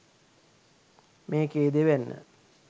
මේකේ දෙවැන්න